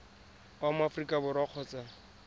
wa mo aforika borwa kgotsa